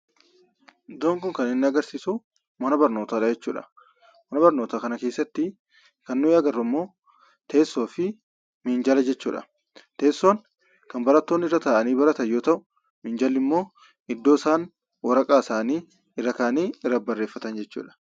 Iddoon kun kan inni agarsiisu, mana barnootaa dha jechuu dha. Mana barnootaa kana keessatti kan nuti agarru immoo teessoo fi minjaala jechuudha. Teessoon kan barattoonni irra taa'anii baratan yommuu ta'u, minjaalli immoo iddoo isaan waraqaa isaanii irra kaa'anii irratti barreeffatan jechuudha.